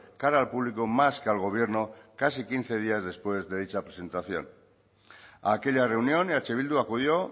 cara al público más que al gobierno casi quince días después de dicha presentación a aquella reunión eh bildu acudió